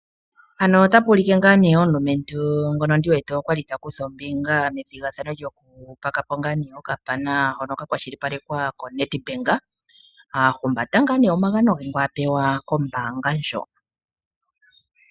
Omulumentu ali ta kutha ombinga methigathano lyokupakapo okapana ndyono lyali lyakwashilipalekwa koNedbank nokwapewa omagano kombaanga ndjo.